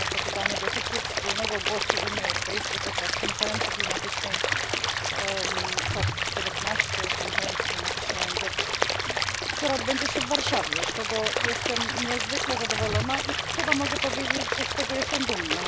A to pytanie dotyczy wspólnego głosu Unii Europejskiej podczas konferencji klimatycznej COP 19, konferencji klimatycznej ONZ, która odbędzie się w Warszawie, z czego jestem niezwykle zadowolona i chyba mogę powiedzieć, że jestem z tego dumna.